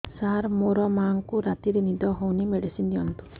ସାର ମୋର ମାଆଙ୍କୁ ରାତିରେ ନିଦ ହଉନି ମେଡିସିନ ଦିଅନ୍ତୁ